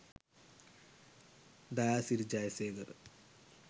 dayasiri jayasekara